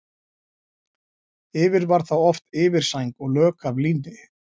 Yfir var þá oft yfirsæng og lök af líni.